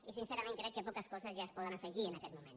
i sincerament crec que poques coses ja es poden afegir en aquest moment